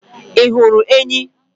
Ị hụrụ enyí?